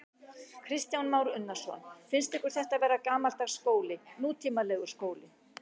Kristján Már Unnarsson: Finnst ykkur þetta vera gamaldags skóli, nútímalegur skóli?